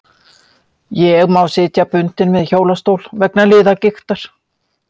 Ég má sitja bundinn við hjólastól vegna liðagiktar.